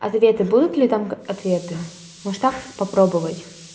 ответы будут ли там ответы может так попробовать